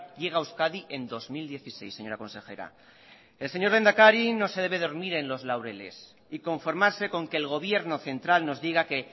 llega a euskadi en dos mil dieciséis señora consejera el señor lehendakari no se debe dormir en los laureles y conformarse con que el gobierno central nos diga que